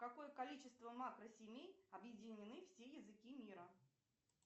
какое количество макросемей объединены все языки мира